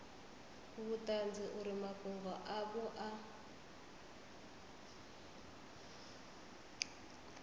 vhuṱanzi uri mafhungo avho a